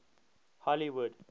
hollywood